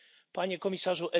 Panie Komisarzu!